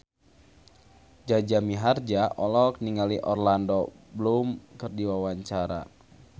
Jaja Mihardja olohok ningali Orlando Bloom keur diwawancara